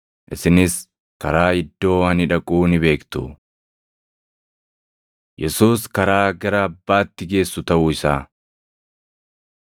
Isinis karaa iddoo ani dhaquu ni beektu.” Yesuus Karaa Gara Abbaatti Geessu Taʼuu Isaa